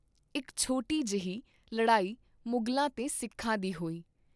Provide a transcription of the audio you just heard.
ਇਕ ਛੋਟੀ ਜਿਹੀ ਲੜਾਈ ਮੁਗਲਾਂ ਤੇ ਸਿਖਾਂ ਦੀ ਹੋਈ।